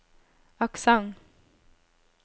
aksent